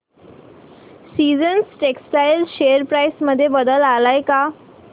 seasons textile share price मध्ये बदल आलाय का